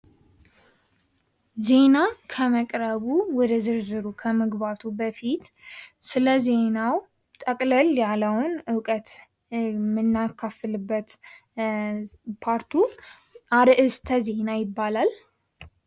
ዜና ከመቅረቡ ወደ ዝርዝሩ ከመግባቱ በፊት ስለዜናው ጠቅለል ያለውን እውቀት የምናካፍልበት ፓርቱ አርዕስተ ዜና ይባላል።